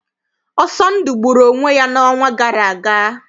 Ọsọndụ gburu onwe ya n'ọnwa gara aga.